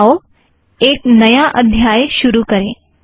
आओ एक नया अध्याय शुरु करें